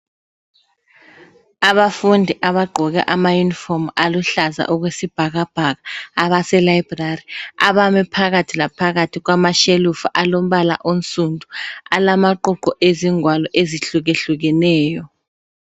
Abafundi abagqoke amayunifomu aluhlaza okwesibhakabhaka abaselibrary abame phakathi laphakathi kwamashelufu alombala onsundu alamaququ ezingwalo ezihlukehlukeneyo